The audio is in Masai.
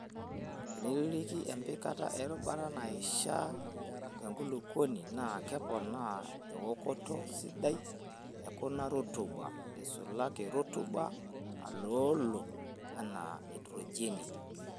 Teniririki empikata e rutuba naishaa tenkulukuoni naa keponaa ewokoto sidai e kuna rutuba eisulaki rutuba naloolo anaa naitrojeni.